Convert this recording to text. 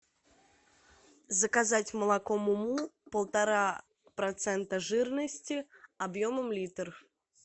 заказать молоко му му полтора процента жирности объемом литр